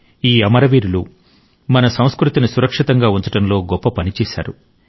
ఈ అమరవీరులు మన సంస్కృతిని సురక్షితంగా ఉంచడంలో గొప్ప పని చేశారు